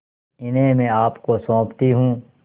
इन्हें मैं आपको सौंपती हूँ